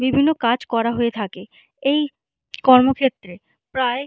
বিভিন্ন কাজ করা হয়ে থাকে এই কর্মক্ষেত্রে প্রায়--